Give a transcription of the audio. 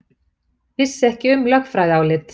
Vissi ekki um lögfræðiálit